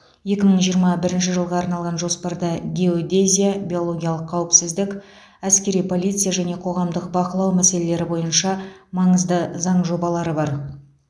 екі мың жиырма бірінші жылға арналған жоспарда геодезия биологиялық қауіпсіздік әскери полиция және қоғамдық бақылау мәселелері бойынша маңызды заң жобалары бар